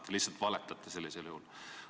Te lihtsalt valetate sellisel juhul.